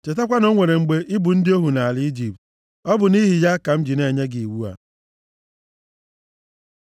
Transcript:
Chetakwa na o nwere mgbe ị bụ ndị ohu nʼala Ijipt. Ọ bụ nʼihi ya ka m ji na-enye gị iwu a.